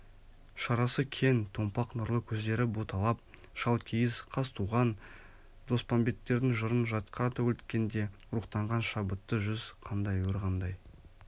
шарасы кең томпақ нұрлы көздері боталап шалкиіз қазтуған доспанбеттердің жырын жатқа төгілткенде рухтанған шабытты жүз қандай өр қандай